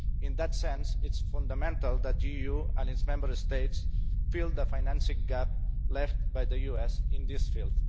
In that sense, it is fundamental that the EU and its Member States fill the financing gap left by the US in this field.